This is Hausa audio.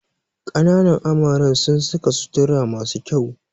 Kananan amaren sun saka sutura masu kyau